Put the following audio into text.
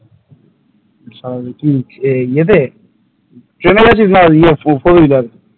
ইয়েতে ট্রেনে গিয়েছিলিস না four wheeler?